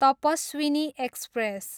Tapaswini express